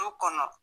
Du kɔnɔ